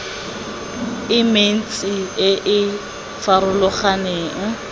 e mentsi e e farologaneng